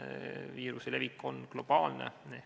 Viiruse levik on globaalne.